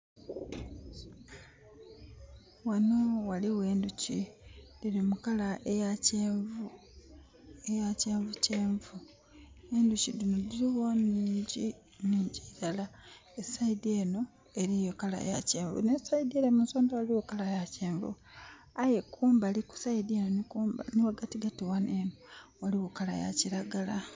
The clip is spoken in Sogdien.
Ghanho ghaligho endhuki dhili mukala eya kyenvu kyenvu. Endhuki dhino dhiligho nnhingi nnhingi iilala erughi enho eriyo kala ya kyenvu ne rughi ere munsodha eriyo kala ya kyenvu aye kumbali nhi ghagatigati eno eriyo lanhi yakilagala